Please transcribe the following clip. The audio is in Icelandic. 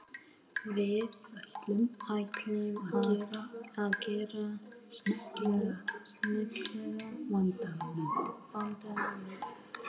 Við ætlum að gera smekklega, vandaða mynd.